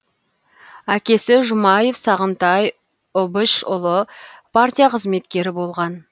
әкесі жұмаев сағынтай ұбышұлы партия қызметкері болған